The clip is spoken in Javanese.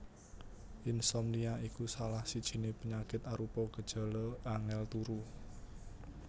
Insomnia iku salah sijiné penyakit arupa gejala angèl turu